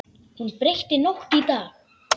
Hún breytti nótt í dag.